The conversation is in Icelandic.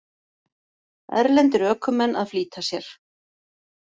Erlendir ökumenn að flýta sér